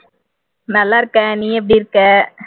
நல்லா இருக்கேன் நீ எப்படி இருக்க?